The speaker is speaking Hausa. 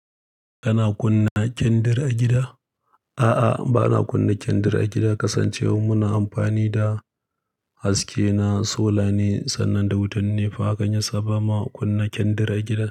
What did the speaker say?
Kana kunna kyandir a gida? A'a, ba na kunna kyandir a gida kasancewar muna amfani da haske na solar ne sannan da wutan NEPA hakan yasa ba ma kunna kyandir a gida.